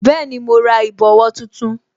Bẹẹni, mo ra ìbòwó tuntun